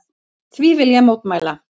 Því vil ég mótmæla!